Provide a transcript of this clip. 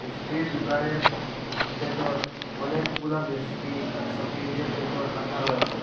মিষ্টির দুকানের বেতর অনেকগুলা মিষ্টি শোকেজের বেতর রাখা রয়েসে।